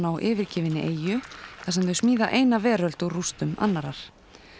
á yfirgefinni eyju þar sem þau smíða eina veröld úr rústum annarrar